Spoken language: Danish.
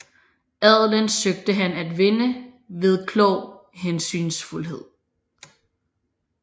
Adelen søgte han at vinde ved klog hensynsfuldhed